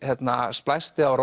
splæsti á